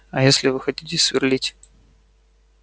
а если вы хотите сверлить